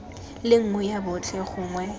le nngwe ya botlhe gongwe